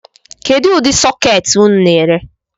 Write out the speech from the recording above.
Kedu udi sụketi unu na-ere?